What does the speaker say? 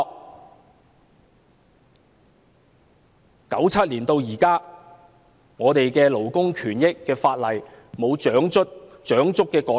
正因如此，由1997年至今，我們的勞工權益法例沒有長足的改善。